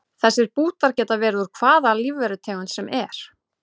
Þessir bútar geta verið úr hvaða lífverutegund sem er.